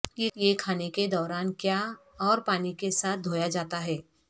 یہ کھانے کے دوران کیا اور پانی کے ساتھ دھویا جاتا ہے